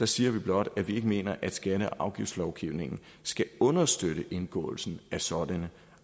siger vi blot at vi ikke mener at skatte og afgiftslovgivningen skal understøtte indgåelsen af sådanne